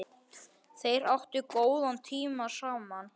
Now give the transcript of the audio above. Þeir áttu góðan tíma saman.